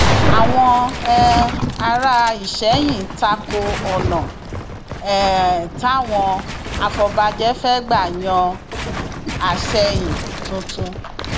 àwọn um ará ìsẹyìn ta ko ọnà um táwọn afọbàjẹ fẹẹ gbà yan àsẹyìn tuntun